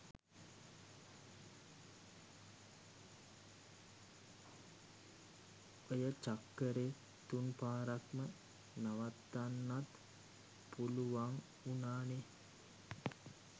ඔය චක්කරේ තුන් පාරක්ම නවත්තන්නත් පුළුවං උනානේ